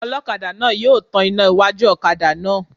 Ọlọ́kadà náà yóò tan iná iwájú ọ̀kadà náà